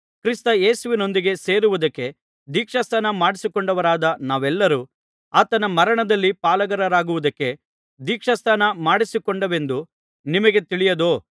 ಕ್ರಿಸ್ತ ಯೇಸುವಿನೊಂದಿಗೆ ಸೇರುವುದಕ್ಕೆ ದೀಕ್ಷಾಸ್ನಾನ ಮಾಡಿಸಿಕೊಂಡವರಾದ ನಾವೆಲ್ಲರೂ ಆತನ ಮರಣದಲ್ಲಿ ಪಾಲುಗಾರರಾಗುವುದಕ್ಕೆ ದೀಕ್ಷಾಸ್ನಾನ ಮಾಡಿಸಿಕೊಂಡೆವೆಂದು ನಿಮಗೆ ತಿಳಿಯದೋ